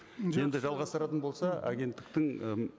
енді жалғастыратын болса агенттіктің і